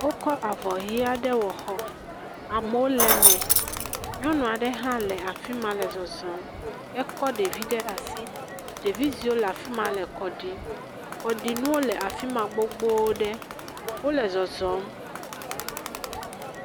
Wokɔ avɔ ʋi aɖe wɔ xɔ. Amewo le eme. Nyɔnu aɖe hã le afi ma le zɔzɔm. Ekɔ ɖevi ɖe asi. Ɖevi ziwo le afi ma le kɔ ɖim. Kɔɖinuwo le afi ma gbogboɖe. Wole zɔzɔm.